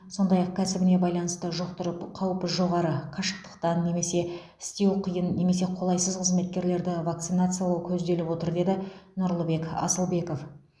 сондай ақ кәсібіне байланысты жұқтырып қаупі жоғары қашықтықтан немесе істеу қиын немесе қолайсыз қызметкерлерді вакцинациялау көзделіп отыр деді нұрлыбек асылбеков